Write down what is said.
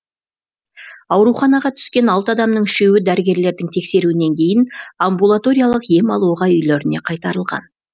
ауруханаға түскен алты адамның үшеуі дәрігерлердің тексеруінен кейін амбулаториялық ем алуға үйлеріне қайтарылған